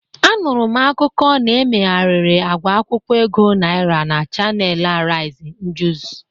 Anụrụ m akụkụ na-emegharịrị agwa akwụkwọ ego Naịra na chanel Ariz njuz.